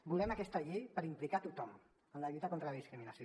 volem aquesta llei per implicar tothom en la lluita contra la discriminació